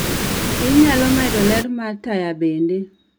Inyalo medo ler mar taya bende